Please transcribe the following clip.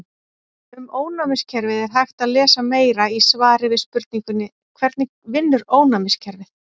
Um ónæmiskerfið er hægt að lesa meira í svari við spurningunni Hvernig vinnur ónæmiskerfið?